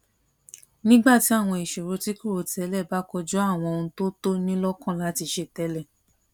nígbà tí àwọn ìṣòro tí kò rò tẹlẹ bá kojú àwọn ohun tó tó ní lókàn láti ṣe télè